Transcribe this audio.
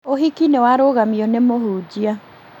ũhiki nĩwarũgamio nĩ mũhunjia